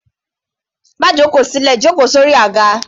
Má jóko sí ilẹ̀, jó ko sórí àga.